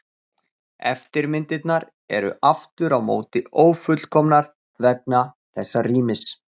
Eftirmyndirnar eru aftur á móti ófullkomnar vegna þessa rýmis.